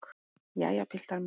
Jæja, piltar mínir!